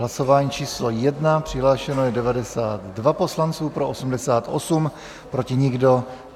Hlasování číslo 1, přihlášeno je 92 poslanců, pro 88, proti nikdo.